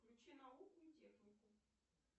включи науку и технику